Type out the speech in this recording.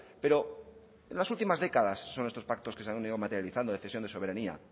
pero en las últimas décadas son estos pactos que se han ido materializando de cesión de soberanía